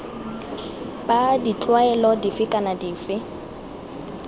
b ditlwaelo dife kana dife